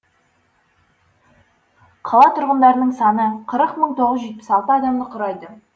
қала тұрғындарының саны қырық мың тоғыз жүз жетпіс алты адамды құрайды